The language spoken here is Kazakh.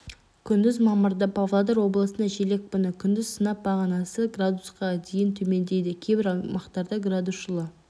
күндіз мамырда павлодар облысында жел екпіні күндіз сынап бағанасы градусқа дейін төмендейді кейбір аймақтарда градус жылы